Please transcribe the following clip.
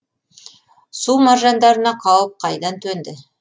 су маржандарына қауіп қайдан төнді